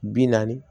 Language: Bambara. Bi naani